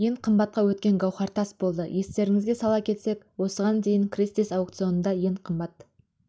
ең қымбатқа өткен гауһар тас болды естеріңізге сала кетсек осыған дейін кристис аукционында ең қымбат